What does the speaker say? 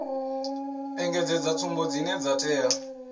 engedzedza tsumbo dzine dza tea